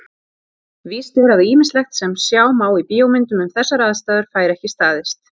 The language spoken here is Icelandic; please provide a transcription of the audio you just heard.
Víst er að ýmislegt sem sjá má í bíómyndum um þessar aðstæður fær ekki staðist.